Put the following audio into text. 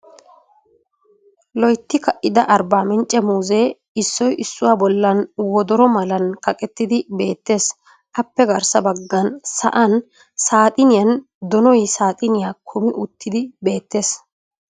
Loytti Ka"ida Arbaminchche muuzee issoy issuwa bollan wodora malan kaqqetidi beettees. appe garssa bagan sa"an saaxuniyan donay saaxuniyaa kumi utti beettees.